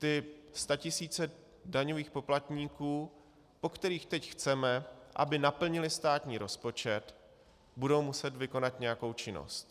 Ty statisíce daňových poplatníků, po kterých teď chceme, aby naplnili státní rozpočet, budou muset vykonat nějakou činnost.